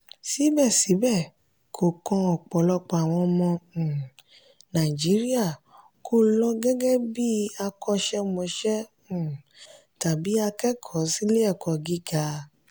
síbẹ̀síbẹ̀ kò kan ọ̀pọ̀lọpọ̀ àwọn ọmọ um nàìjíríà kó lọ gẹ́gẹ́ bí akọ́ṣẹ́mọṣẹ́ um tàbí akẹ́kọ̀ọ́ sí ilé-ẹ̀kọ́ gíga.